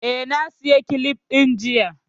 Eh, na saya kilifs ɗin jiya